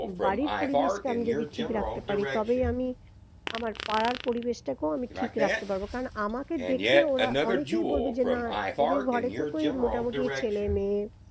বাড়ির পরিবেশকে আমি যদি ঠিক রাখতে পারি তবেই আমি আমার পাড়ার পরিবেশটাকেও আমি ঠিক রাখতে পারবো কারণ আমাকে দেখে ওরা অনেকেই বলবে যে না এদের ঘরে তো কোই মোটামুটি ছেলে মেয়ে